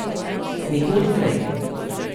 Nikoli prej.